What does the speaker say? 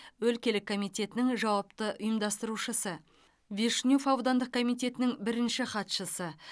өлкелік комитетінің жауапты ұйымдастырушысы вишнев аудандық комитетінің бірінші хатшысы